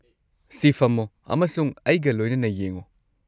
ꯁꯤ! ꯐꯝꯃꯣ ꯑꯃꯁꯨꯡ ꯑꯩꯒ ꯂꯣꯏꯅꯅ ꯌꯦꯡꯉꯣ꯫